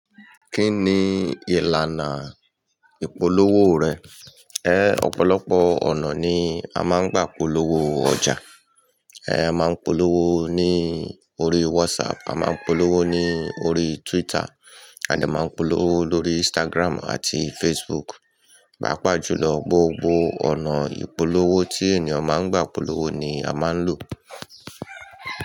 Kí ni ìlànà ìpolówó rẹ̀? Ehn ọ̀pọ̀lọpọ̀ ọ̀nà ni a máa ń gbà polówó ọjà. A máa ń polówó ní orí WhatsApp, a máa ń polówó ní orí Twitter, a de máa ń polówó lórí Instagram àti Facebook. Paa pàájù lọ, gbogbo ọ̀nà ìpolówó tí ènìyàn máa ń gbà polówó ni a máa ń lò.